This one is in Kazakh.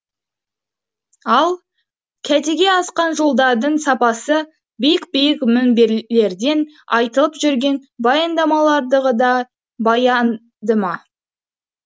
ал кәдеге асқан жолдардың сапасы биік биік мінберлерден айтылып жүрген баяндамалардағыдай баянды ма